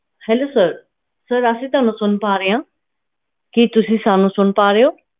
ਹਾਂਜੀ sirsir ਅਸੀਂ ਤੁਹਾਨੂੰ ਸੁਨ ਪਾ ਰਹੇ ਆ ਕਿ ਤੁਸੀਂ ਸਾਨੂੰ ਸੁਨ ਪਾ ਰਹੇ ਹੋ